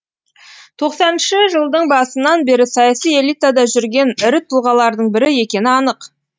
тоқсаныншы жылдың басынан бері саяси элитада жүрген ірі тұлғалардың бірі екені анық